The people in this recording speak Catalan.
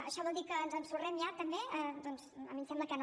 això vol dir que ens ensorrem ja també doncs a mi em sembla que no